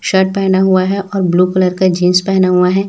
Shirt पहना हुआ है और ब्लू कलर का जींस पहेना हुआ है।